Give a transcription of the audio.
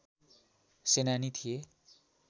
सेनानी थिए